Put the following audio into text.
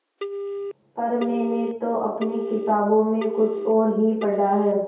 पर मैंने तो अपनी किताबों में कुछ और ही पढ़ा है